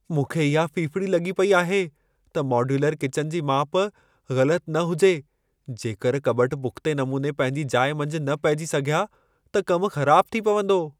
मूंखे इहा फिफिड़ी लॻी पई आहे त मॉड्यूलर किचन जी माप ग़लत न हुजे। जेकर कॿट पुख़्ते नमूने पंहिंजी जाइ मंझि न पहिजी सघिया त कमु ख़राबु थी पवंदो।